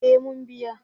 Eh mun biya